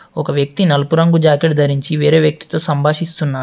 ఒక వ్యక్తి నలుపు రంగు జాకెట్ ధరించి వేరే వ్యక్తితో సంభాషిస్తున్నాడు.